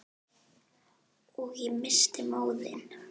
Og ég missti móðinn.